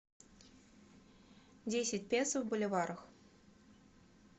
десять песо в боливарах